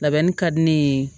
Labɛnni ka di ne ye